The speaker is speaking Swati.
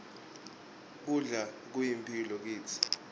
kudla kuyimphilo kitsi